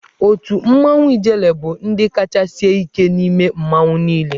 Otù mmanwụ Ijele bụ ndị kacha sie ike n'ime mmanwụ niile.